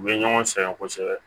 U bɛ ɲɔgɔn sɛgɛn kosɛbɛ